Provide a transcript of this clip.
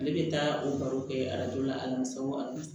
Ale bɛ taa o baro kɛ la